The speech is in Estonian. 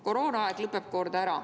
Koroonaaeg lõpeb kord ära.